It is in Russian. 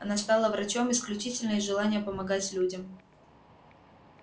она стала врачом исключительно из желания помогать людям